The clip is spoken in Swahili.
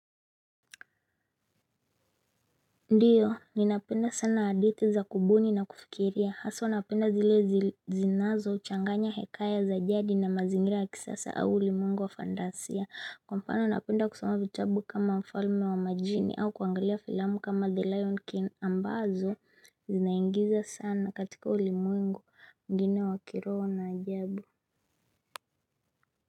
Ndiyo ninapenda sana hadithi za kubuni na kufikiria haswa napenda zile zinazochanganya hekaya za jadi na mazingira ya kisasa au ulimwengu wa fandasia Kwa mfano napenda kusoma vitabu kama mfalme wa majini au kuangalia filamu kama the lion king ambazo zinaigiza sana katika ulimwengu mwigine wa kiroho na ajabu.